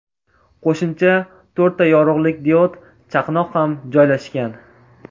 Qo‘shimcha to‘rtta yorug‘lik diod chaqnoq ham joylashgan.